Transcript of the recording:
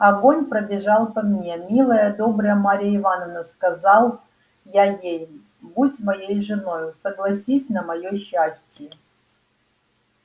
огонь пробежал по мне милая добрая марья ивановна сказал я ей будь моею женою согласись на моё счастье